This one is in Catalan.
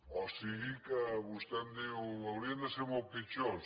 o sigui que vostè em diu haurien de ser molt pitjors